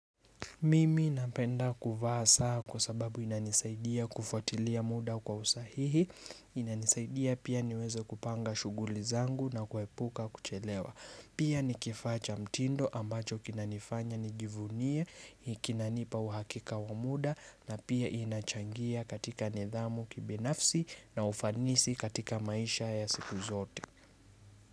Mimi napenda kuvaa saa kwa sababu inanisaidia kufuatilia muda kwa usahihi, inanisaidia pia niweze kupanga shughuli zangu na kuepuka kuchelewa. Pia ni kifaa cha mtindo ambacho kinanifanya nijivunie, kinanipa uhakika wa muda na pia inachangia katika nidhamu kibinafsi na ufanisi katika maisha ya siku zote.